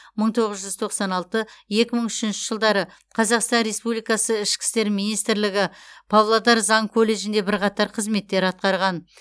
мың тоғыз жүз тоқсан алты екі мың үшінші жылдары қазақстан республикасы ішкі істер министрлігі павлодар заң колледжінде бірқатар қызметтер атқарған